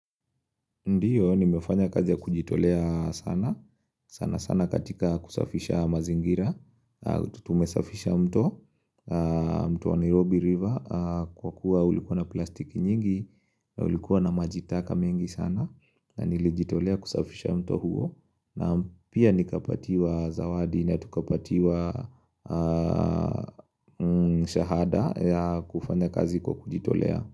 Ndiyo, nimefanya kazi ya kujitolea sana, sana sana katika kusafisha mazingira, tutumesafisha mto, mto wa Nairobi river, kwa kuwa ulikuwa na plastiki nyingi, ulikuwa na maji taka mengi sana, na nilijitolea kusafisha mto huo, na pia nikapatiwa zawadi na tukapatiwa shahada ya kufanya kazi kwa kujitolea.